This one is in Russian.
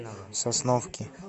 сосновки